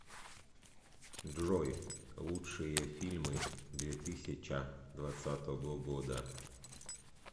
джой лучшие фильмы две тысяча двадцатого года